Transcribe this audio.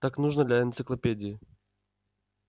так нужно для энциклопедии